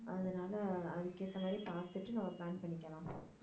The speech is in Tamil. அதனால அதுக்கு ஏத்த மாதிரி பாத்துட்டு நம்ம plan பண்ணிக்கலாம்